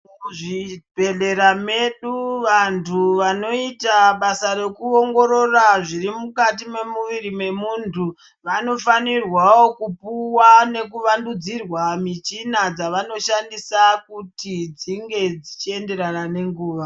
Muzvibhedhlera medu vantu vanoita basa rekuongorora zviri mukati memuviri memuntu Vanofanirwawo kupuwa nekuvandudzurwa muchini dAvanoshandisa kuti dzinge dzichienderana nenguwa.